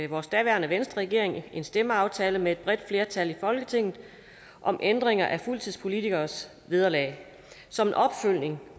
vores daværende venstreregering en stemmeaftale med et bredt flertal i folketinget om ændringer af fuldtidspolitikeres vederlag som en opfølgning